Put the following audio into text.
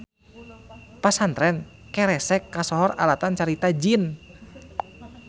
Pasantren keresek kasohor alatan carita jin.